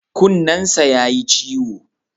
Kunnensa ya yi ciwo.